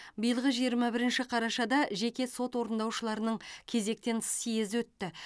биылғы жиырма бірінші қарашада жеке сот орындаушыларының кезектен тыс съезі өтті